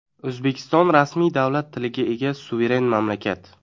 O‘zbekiston rasmiy davlat tiliga ega suveren mamlakat.